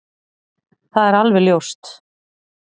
Það er alveg ljóst